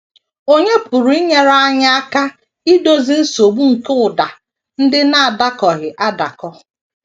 Ònye pụrụ inyere anyị aka idozi nsogbu nke ụda ndị na - adakọghị adakọ?